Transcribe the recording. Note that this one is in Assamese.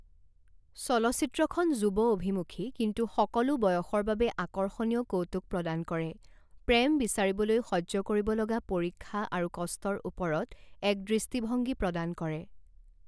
চলচ্চিত্ৰখন যুৱ অভিমুখী কিন্তু সকলো বয়সৰ বাবে আকৰ্ষণীয় কৌতুক প্ৰদান কৰে প্ৰেম বিচাৰিবলৈ সহ্য কৰিব লগা পৰীক্ষা আৰু কষ্টৰ ওপৰত এক দৃষ্টিভংগী প্ৰদান কৰে।